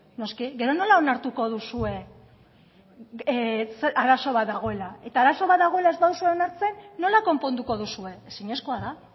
noski gero nola onartuko duzue arazo bat dagoela eta arazo bat dagoela ez baduzu onartzen nola konponduko duzue ezinezkoa da